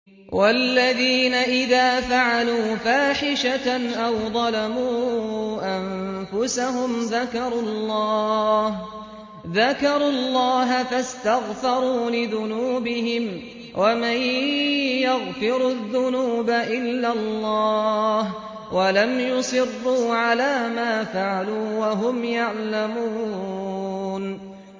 وَالَّذِينَ إِذَا فَعَلُوا فَاحِشَةً أَوْ ظَلَمُوا أَنفُسَهُمْ ذَكَرُوا اللَّهَ فَاسْتَغْفَرُوا لِذُنُوبِهِمْ وَمَن يَغْفِرُ الذُّنُوبَ إِلَّا اللَّهُ وَلَمْ يُصِرُّوا عَلَىٰ مَا فَعَلُوا وَهُمْ يَعْلَمُونَ